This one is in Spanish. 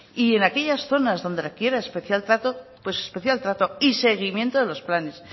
y en aquellas zonas donde requiera especial trato pues especial trato y seguimiento de los planes